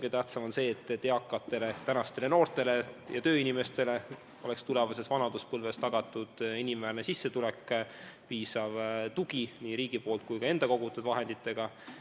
Kõige tähtsam on see, et eakatele, tänastele noortele ja tööinimestele oleks tulevases vanaduspõlves tagatud inimväärne sissetulek, piisav tugi nii riigi poolt kui ka tänu enda kogutud vahenditele.